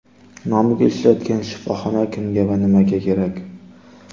Nomiga ishlayotgan shifoxona kimga va nimaga kerak?.